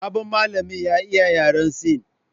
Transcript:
Sabon malamin ya iya yaran Sin